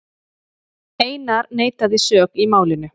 Einar neitaði sök í málinu.